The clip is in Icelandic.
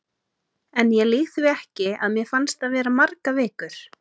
En ég lýg því ekki, að mér fannst það vera margar vikur.